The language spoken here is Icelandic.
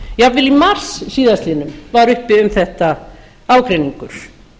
jafnvel í mars síðastliðinn var uppi um þetta ágreiningur